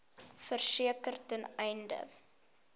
verseker ten einde